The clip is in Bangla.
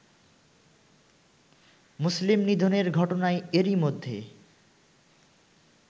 মুসলিম নিধনের ঘটনায় এরই মধ্যে